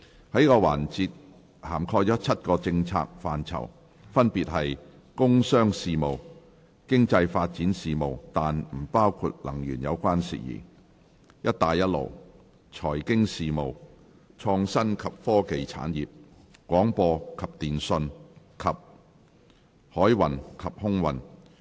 這個環節涵蓋7個政策範疇，分別是：工商事務；經濟發展事務，但不包括能源有關事宜；"一帶一路"；財經事務；創新及科技產業；廣播及電訊；及海運及空運。